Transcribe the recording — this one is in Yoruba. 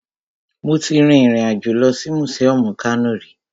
Mo ti rin ìrìn àjò lọ sí mùsíọmù Kano rí